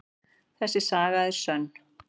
Þessi saga er sönn.